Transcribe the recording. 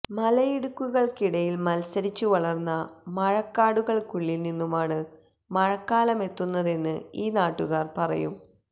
മലയിടുക്കുകള്ക്കിടയില് മത്സരിച്ചു വളര്ന്ന മഴക്കാടുകള്ക്കുള്ളില് നിന്നുമാണ് മഴക്കാലമെത്തുന്നതെന്ന് ഈ നാട്ടുകാര് പറയും